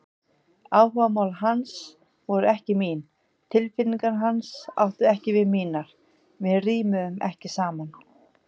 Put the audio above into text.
Áhugamál hans voru ekki mín, tilfinningar hans áttu ekki við mínar, við rímuðum ekki saman.